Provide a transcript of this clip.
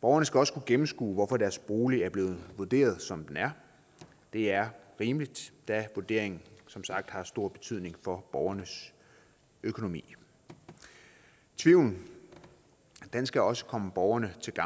borgerne skal også kunne gennemskue hvorfor deres bolig er blevet vurderet som den er det er rimeligt da vurderingen som sagt har stor betydning for borgernes økonomi tvivlen skal også komme borgerne til